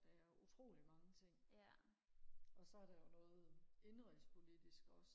der er utrolig mange ting og så er der jo noget indenrigs politisk også